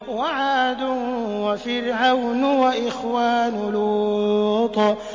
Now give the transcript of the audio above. وَعَادٌ وَفِرْعَوْنُ وَإِخْوَانُ لُوطٍ